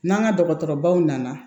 N'an ka dɔgɔtɔrɔbaw nana